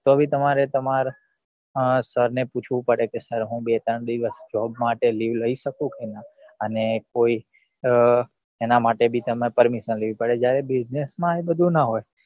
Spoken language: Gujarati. તો બી તમારે તમાર અ sir ને પછ્વું પડે કે sir હું બે ત્રણ દિવસ job માટે day લઇ સકું ખરા અને કોઈ અ એના માટે બી તમારે permission લેવી પડે જ્યારે business માં એ બધું નાં હોય